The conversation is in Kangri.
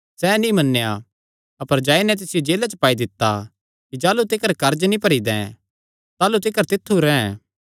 सैह़ नीं मन्नेया अपर जाई नैं तिसियो जेला च पाई दित्ता कि जाह़लू तिकर कर्ज नीं भरी दैं ताह़लू तिकर तित्थु रैंह्